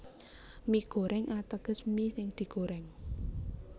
Mie Goreng ateges mi sing digorèng